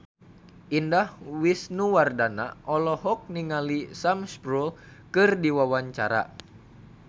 Indah Wisnuwardana olohok ningali Sam Spruell keur diwawancara